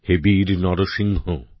হে বীর নরসিংহ